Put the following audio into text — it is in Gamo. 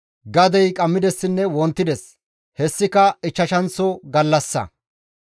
Gadey qammidessinne wontides; hessika ichchashanththo gallassa.